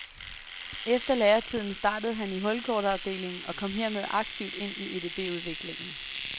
Efter læretiden startede han i hulkortafdelingen og kom hermed aktivt ind i EDBudviklingen.